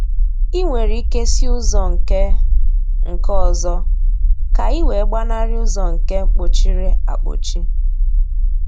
I nwere ike si ụzọ nke nke ọzọ ka ị wee gbanarị ụzọ nke mkpọchiri akpọchi